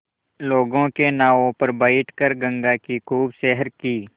लोगों के नावों पर बैठ कर गंगा की खूब सैर की